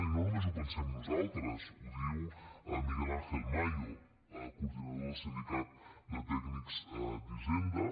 i no només ho pensem nosaltres ho diu miguel ángel mayo coordinador del sindicat de tècnics d’hisenda